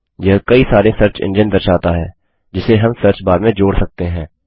यह कई सारे सर्च एंजिन दर्शाता है जिसे हम सर्चबार में जोड़ सकते हैं